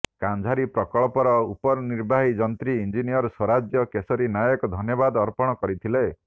କାନ୍ଝାରୀ ପ୍ରକଳ୍ପର ଉପନିର୍ବାହୀ ଯନ୍ତ୍ରୀ ଇଂ ସ୍ୱରାଜ୍ୟ କେଶରୀ ନାୟକ ଧନ୍ୟବାଦ ଅର୍ପଣ କରିଥିଲେ